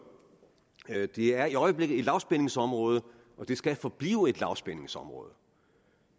det er i øjeblikket et lavspændingsområde og det skal forblive et lavspændingsområde